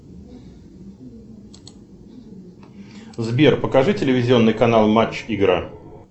сбер покажи телевизионный канал матч игра